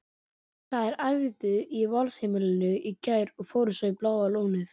Þær æfðu í Valsheimilinu í gær og fóru svo í Bláa lónið.